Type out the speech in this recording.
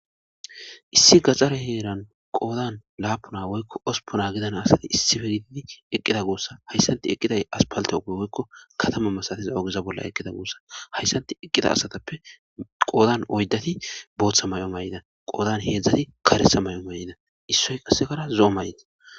Issi gaxare heeran qoodan laapuna woykko ospona gidana asati issife gididi eqqida guossa hayssanti eqqiday as paltepe woykko katama masatiza ogeza bolla eqqida guossa hayssanti eqqida asatappe qoodan oyddati booththa may7o may7ida qoodan heedzdzati karesa may7o may7ina issoy qasekara zo7o may7na.